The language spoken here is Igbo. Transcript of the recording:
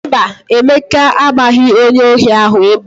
Mba, Emeka agbaghị onye ohi ahụ egbe.